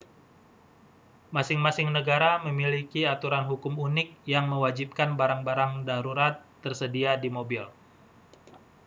masing-masing negara memiliki aturan hukum unik yang mewajibkan barang-barang darurat tersedia di mobil